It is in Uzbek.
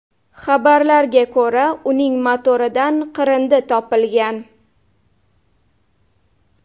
Xabarlarga ko‘ra uning motoridan qirindi topilgan.